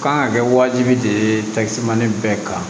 Kan ka kɛ wajibi de ye bɛɛ kan